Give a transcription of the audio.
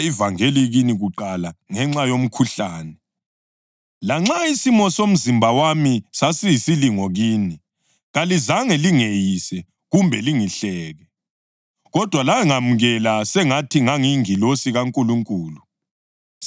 Lanxa isimo somzimba wami sasiyisilingo kini, kalizange lingeyise kumbe lingihleke. Kodwa langamukela sengathi ngangiyingilosi kaNkulunkulu, sengathi nganginguKhristu uJesu yena ngokwakhe.